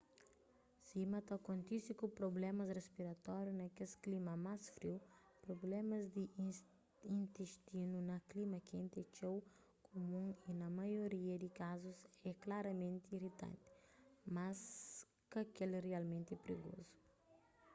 sima ta kontise ku prublémas rispiratórius na kes klima más friu prublémas di intistinu na klima kenti é txeu kumun y na maioria di kazus é klaramenti iritanti mas ka kel rialmenti prigozu